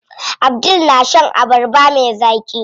Abdul na shan abarba me zaƙi.